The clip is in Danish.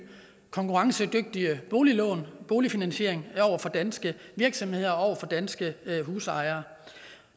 konkurrencedygtige boliglån boligfinansiering over for danske virksomheder og over for danske husejere